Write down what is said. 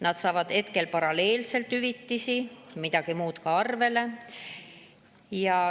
Need inimesed saavad paralleelselt hüvitisi ja midagi muud ka arvele.